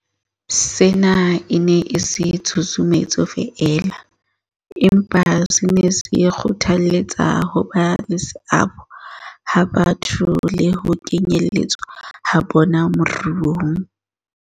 Sena e ne e se tshusumetso feela, empa se ne se kgothalletsa hoba le seabo ha batho le ho kenyeletswa ha bona moruong.